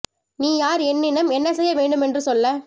நீ யார் என் இனம் என்ன செய்ய வேண்டும் என்று சொல்ல